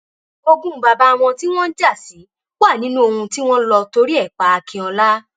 ogun bàbá wọn tí wọn ń jà sí wà nínú ohun tí wọn lọ torí ẹ pa akínọlá